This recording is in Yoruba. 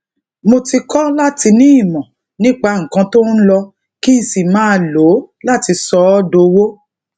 mo ti kọ láti ní imo nipa nnkan to n lo kí n sì máa lo lati so o dowo